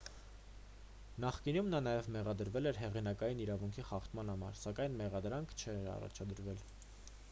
նախկինում նա նաև մեղադրվել էր հեղինակային իրավունքի խախտման համար սակայն մեղադրանք չէր առաջադրվել